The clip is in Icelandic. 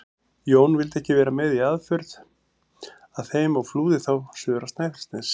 Jón vildi ekki vera með í aðför að þeim og flúði þá suður á Snæfellsnes.